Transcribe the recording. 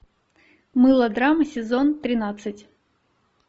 мылодрама сезон тринадцать